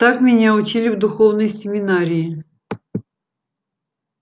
так меня учили в духовной семинарии